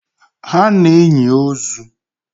Ha na enyi ozuu